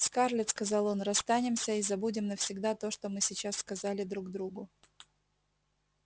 скарлетт сказал он расстанемся и забудем навсегда то что мы сейчас сказали друг другу